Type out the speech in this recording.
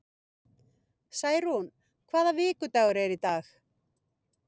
eins og var.